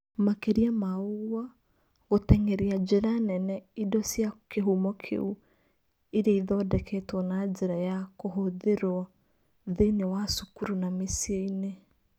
Makĩria ma ũguo, gũteng'eria njĩra nene indo cia kĩhumo kĩu iria ithondeketwo na njĩra ya kũhũthĩrũo thĩinĩ wa cukuru na mĩciĩ-inĩ.